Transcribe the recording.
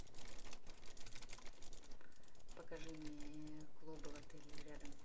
покажи мне клубы в отеле или рядом